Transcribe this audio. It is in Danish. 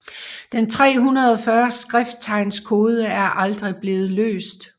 Den 340 skrifttegns kode er aldrig blevet løst